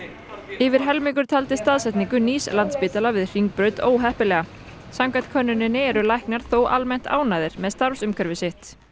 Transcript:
yfir helmingur taldi staðsetningu nýs við Hringbraut óheppilega samkvæmt könnuninni eru læknar þó almennt ánægðir með starfsumhverfi sitt